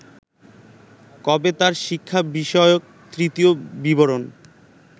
কবে তাঁর শিক্ষা বিষয়ক তৃতীয় বিবরন